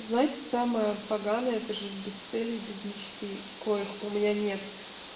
знаете самое поганое это жить без цели и без мечты коих у меня нет